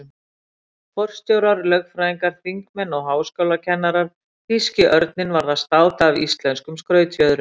Forstjórar, lögfræðingar, þingmenn og háskólakennarar- þýski örninn varð að státa af íslenskum skrautfjöðrum.